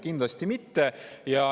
Kindlasti mitte.